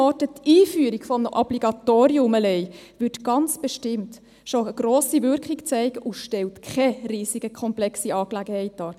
Die alleinige Einführung eines Obligatoriums würde ganz bestimmt schon eine grosse Wirkung zeigen und stellt keine riesige, komplexe Angelegenheit dar.